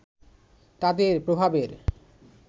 তাদের প্রভাবের